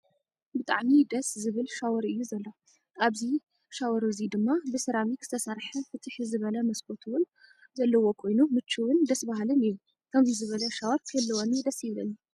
ብጣዕሚ ደስ! ዝብል ሻወር እዩ ዘሎ አብዚይ እዚ ሻወር እዙይ ድማ ብስራሚክ ዝተሰረሐ ፍትሕ ዝበለ መስኮት እውን ዘለዎ ኮይን ምችው ደስ በሃሊን እዩ ። ከምዙይ ዝበለ ሻወር ክህልወኒ ደስ ይብለኒ።